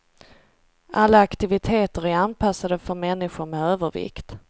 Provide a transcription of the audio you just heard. Alla aktiviteter är anpassade för människor med övervikt.